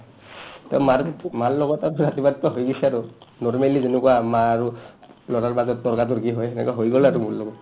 to মাৰ্ মাৰ লগত আৰু ৰাতিপুৱাৰটো হৈ গৈছে আৰু normally যেনেকুৱা মা আৰু অহ্ ল'ৰাৰ মাজত তৰ্কাতৰ্কি হয় সেনেকা হৈ গ'ল আৰু মোৰ লগত